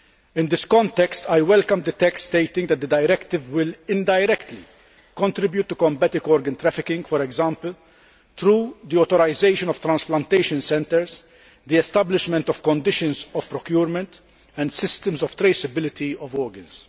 In this context, I welcome the text stating that the directive will indirectly contribute to combating organ trafficking, for example, through the authorisation of transplantation centres, the establishment of conditions of procurement and systems of traceability of organs.